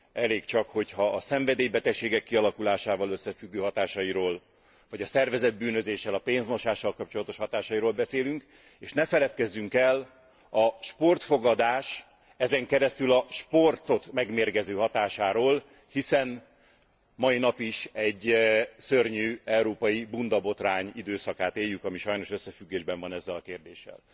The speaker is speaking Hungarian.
Elég csak, hogyha a szenvedélybetegségek kialakulásával összefüggő hatásairól vagy a szervezett bűnözéssel, a pénzmosással kapcsolatos hatásairól beszélünk, és ne feledkezzünk el a sportfogadás, ezen keresztül a sportot megmérgező hatásáról, hiszen mai nap is egy szörnyű európai bundabotrány időszakát éljük, ami sajnos összefüggésben van ezzel a kérdéssel.